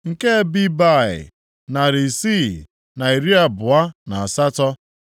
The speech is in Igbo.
nke Bebai, narị isii na iri abụọ na asatọ (628),